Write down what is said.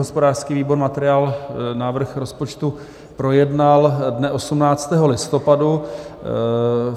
Hospodářský výbor materiál návrh rozpočtu projednal dne 18. listopadu.